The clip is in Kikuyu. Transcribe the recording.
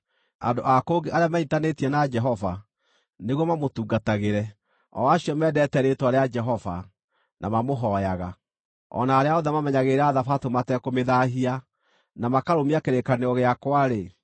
Andũ a kũngĩ arĩa menyiitanĩtie na Jehova nĩguo mamũtungatagĩre, o acio mendete rĩĩtwa rĩa Jehova, na mamũhooyaga, o na arĩa othe mamenyagĩrĩra thabatũ matekũmĩthaahia, na makarũmia kĩrĩkanĩro gĩakwa-rĩ,